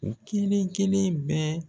U kelen-kelen bɛɛ